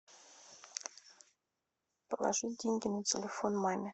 положи деньги на телефон маме